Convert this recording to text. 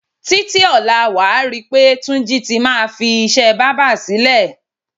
Títí ò̩la, wà á ri pé Túnjí ti máa fi is̩é̩ bábà sílè̩.